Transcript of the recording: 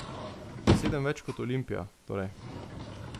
Sedem več kot Olimpija, torej.